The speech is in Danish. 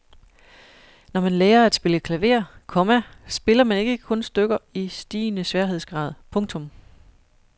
Når man lærer at spille klaver, komma spiller man ikke kun stykker i stigende sværhedsgrad. punktum